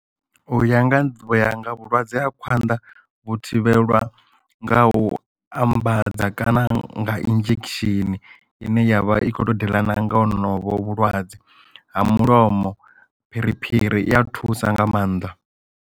Uya nga nḓivho ya nga vhulwadze ha khwanḓa vhu thivhelwa nga u ambadza kana nga injection ine yavha i kho to diḽana nga honovho vhulwadze ha mulomo phiriphiri i a thusa nga maanḓa.